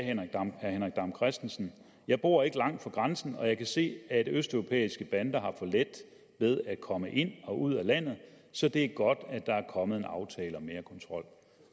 herre henrik dam kristensen jeg bor ikke langt fra grænsen og jeg kan se at østeuropæiske bander har for let ved at komme ind og ud af landet så det er godt at der er kommet en aftale om mere kontrol